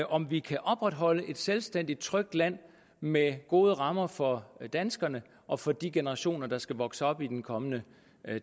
om vi kan opretholde et selvstændigt trygt land med gode rammer for danskerne og for de generationer der skal vokse op i den kommende